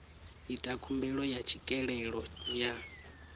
ita khumbelo ya tswikelelo ya